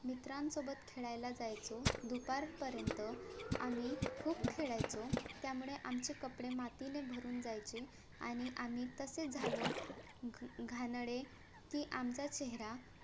मित्रांसोबत खेळायला जायचो दुपारपर्यंत आम्ही खूप खेळायचो त्यामुळे आमचे कपडे मातीने भरून जायचे आणि आम्ही तसेच झालो घाणेरडे कि आमचा चेहरा